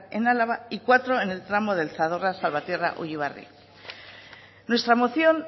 en álava y cuatro en el tramo del zadorra salvatierra ullibarri nuestra moción